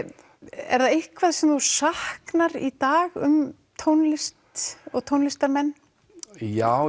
er það eitthvað sem þú saknar í dag um tónlist og tónlistarmenn já